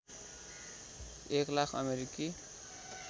एक लाख अमेरिकी